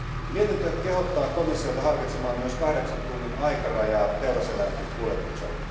Mietintö kehottaa komissiota harkitsemaan myös kahdeksan tunnin aikarajaa teuraseläinten kuljetukselle.